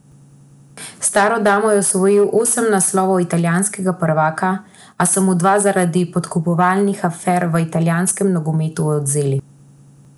S staro damo je osvojil osem naslovov italijanskega prvaka, a so mu dva zaradi podkupovalnih afer v italijanskem nogometu odvzeli.